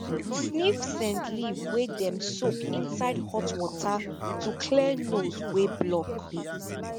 sniff scent leaf wey dem soak inside hot water to clear nose wey block